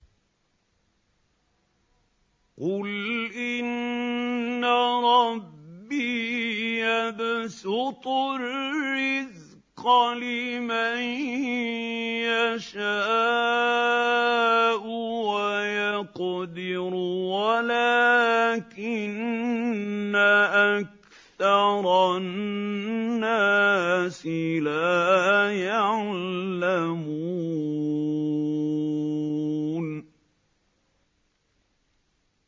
قُلْ إِنَّ رَبِّي يَبْسُطُ الرِّزْقَ لِمَن يَشَاءُ وَيَقْدِرُ وَلَٰكِنَّ أَكْثَرَ النَّاسِ لَا يَعْلَمُونَ